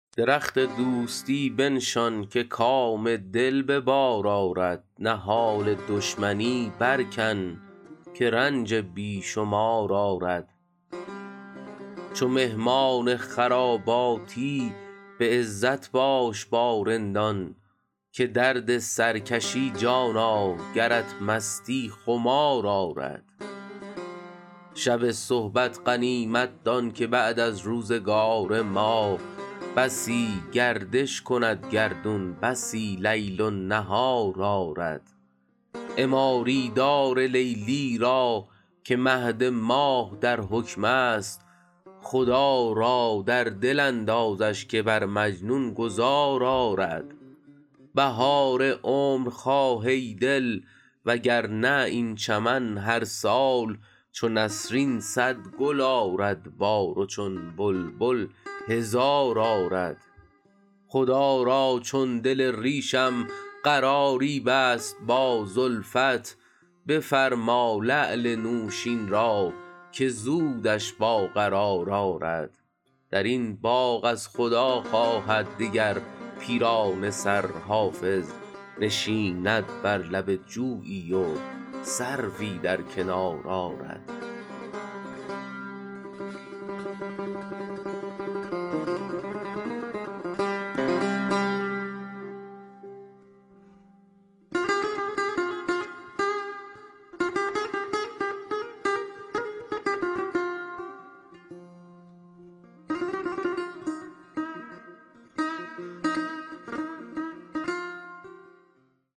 درخت دوستی بنشان که کام دل به بار آرد نهال دشمنی برکن که رنج بی شمار آرد چو مهمان خراباتی به عزت باش با رندان که درد سر کشی جانا گرت مستی خمار آرد شب صحبت غنیمت دان که بعد از روزگار ما بسی گردش کند گردون بسی لیل و نهار آرد عماری دار لیلی را که مهد ماه در حکم است خدا را در دل اندازش که بر مجنون گذار آرد بهار عمر خواه ای دل وگرنه این چمن هر سال چو نسرین صد گل آرد بار و چون بلبل هزار آرد خدا را چون دل ریشم قراری بست با زلفت بفرما لعل نوشین را که زودش با قرار آرد در این باغ از خدا خواهد دگر پیرانه سر حافظ نشیند بر لب جویی و سروی در کنار آرد